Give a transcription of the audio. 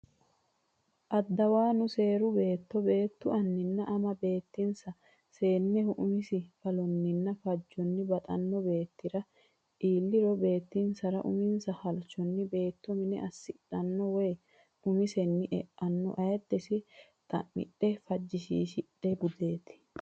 Addawaanu seeru beetto beettu anninna ama beettinsa seenneho umise qalonninna fajjonni baxxino beettira iilliro beettinsara uminsa halchitino beetto mine assidhanno woy umisenni e anno ayiddese xa midhenna fajjishiishidhe budeeti.